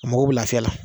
A mago bɛ lafiya la